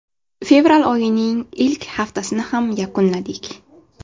Fevral oyining ilk haftasini ham yakunladik.